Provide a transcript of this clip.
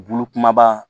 Bulu kumaba